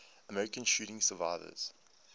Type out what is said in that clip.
american shooting survivors